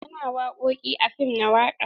Ana wakoki a fim na waka.